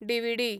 DVD